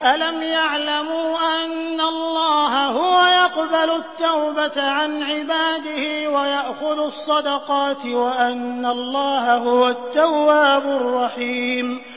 أَلَمْ يَعْلَمُوا أَنَّ اللَّهَ هُوَ يَقْبَلُ التَّوْبَةَ عَنْ عِبَادِهِ وَيَأْخُذُ الصَّدَقَاتِ وَأَنَّ اللَّهَ هُوَ التَّوَّابُ الرَّحِيمُ